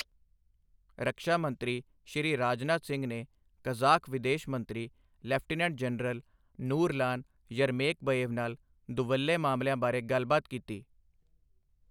ਰਕਸ਼ਾ ਮੰਤਰੀ ਸ਼੍ਰੀ ਰਾਜਨਾਥ ਸਿੰਘ ਨੇ ਕਜ਼ਾਖ਼ ਵਿਦੇਸ ਮੰਤਰੀ ਲੈਫਟੀਨੈਂਟ ਜਨਰਲ ਨੂਰਲਾਨ ਯਰਮੇਕਬਏਵ ਨਾਲ ਦੁਵੱਲੇ ਮਾਮਲਿਆਂ ਬਾਰੇ ਗੱਲਬਾਤ ਕੀਤੀ